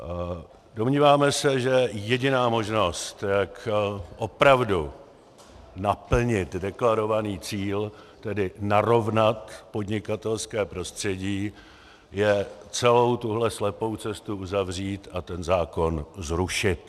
Domnívám se, že jediná možnost, jak opravdu naplnit deklarovaný cíl, tedy narovnat podnikatelské prostředí, je celou tuhle slepou cestu uzavřít a ten zákon zrušit.